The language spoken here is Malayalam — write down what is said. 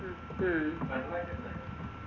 ഉം